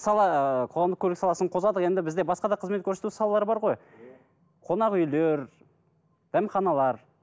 мысалы ыыы қоғамдық көлік саласын қозғадық енді бізде басқа да қызмет көрсету салалары бар ғой қонақүйлер дәмханалар